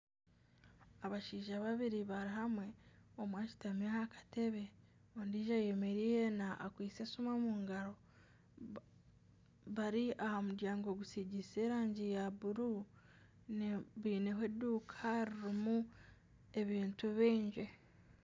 Abashaija babiri bari hamwe omwe ashutami aha katebe ondiijo ayemereire akwitse esimu omu ngaro bari aha muryango gusigiise erangi ya bururu baineho enduuka ririmu ebintu bingi